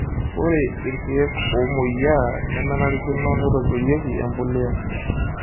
Ore irkiek omoyiaa nemenarikino neitobirieki empulia.